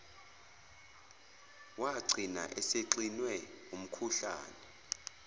wagcina esexinwe umkhuhlane